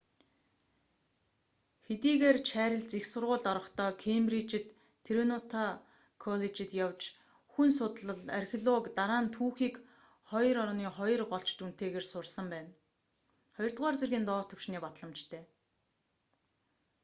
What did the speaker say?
хэдийгээр чарлиз их сургуульд орохдоо кембриджид триниту коллежид явж хүн судллал архиологи дараа нь түүхийг 2:2 голч дүнтэйгээр сурсан байна. 2р зэргийн доод төвшиний батламжтай